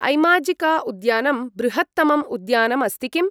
ऐमाजिका उद्यानं बृहत्तमम् उद्यानम् अस्ति किम्?